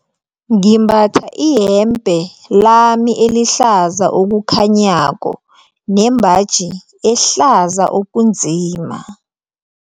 Ngimbatha iyembe lami elihlaza okukhanyako nembaji ehlaza okunzima.